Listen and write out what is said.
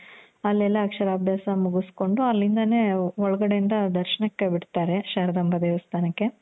ಅಲ್ಲೆಲ್ಲ ಅಕ್ಷರ ಅಭ್ಯಾಸ ಮುಗುಸ್ಕೋಂಡು ಅಲ್ಲಿಂದಾನೆ ಒಳಗಡೆ ಇಂದ ದರ್ಶನಕೆ ಬಿಡ್ತಾರೆ ಶಾರದಾಂಬ ದೇವಸ್ತಾನಕ್ಕೆ